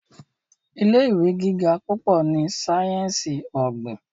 ilé ìwé gíga púpọ ní sáyẹnsì ogbin.